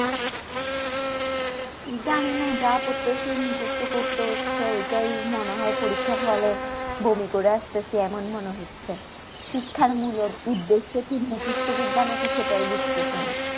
জানি না যা পড়তেছি মুকস্ত করতে হচ্ছে এটি মনে হয় পরীক্ষার হলে বমি করে আসতেছি এমন মনে হচ্ছে শিক্ষার মূলত উদ্দেশ্য কি মুকস্ত বিদ্যা নাকি সেটাই বুজতেছি না